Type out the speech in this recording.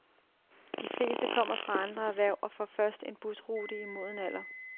De fleste kommer fra andre erhverv og får først en busrute i moden alder.